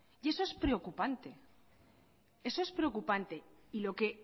y eso es preocupante y lo que